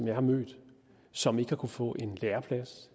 jeg har mødt som ikke har kunnet få en læreplads